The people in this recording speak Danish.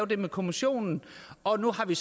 det med kommissionen og nu har vi